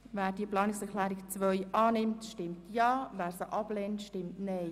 Wer diese annimmt, stimmt Ja, wer diese ablehnt, stimmt Nein.